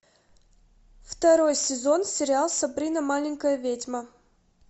второй сезон сериал сабрина маленькая ведьма